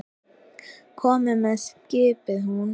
Komiði með! skipaði hún.